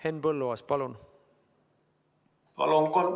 Henn Põlluaas, palun!